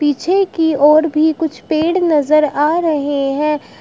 पीछे की और भी कुछ पेड़ नजर आ रहे हैं।